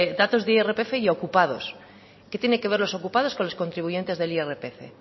datos de irpf y ocupados qué tiene que ver los ocupados con los contribuyentes del irpf